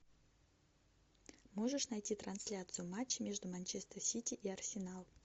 можешь найти трансляцию матча между манчестер сити и арсенал